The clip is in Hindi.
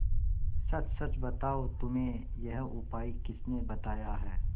सच सच बताओ तुम्हें यह उपाय किसने बताया है